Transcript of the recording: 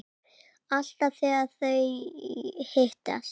Alltaf þegar þau hittast